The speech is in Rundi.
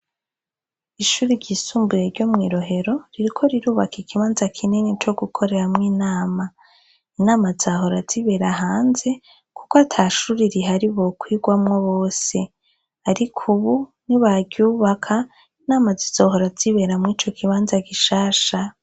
Ishure ryisumbuye ryo mwirohero ririko rirubaka ikibanza kinini co gukoreramwo inama. Inama zahora zibera hanze kuko atashure rihari bokwirwamwo bose, ariko ubu nibaryubaka inama zizohora zibera murico kibanza gishasha.